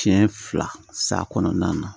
Siɲɛ fila sa kɔnɔna na